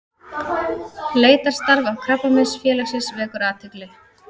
Leitarstarf Krabbameinsfélagsins vekur athygli